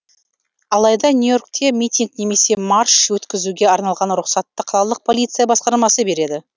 алайда нью и оркте митинг немесе марш өткізуге арналған рұқсатты қалалық полиция басқармасы береді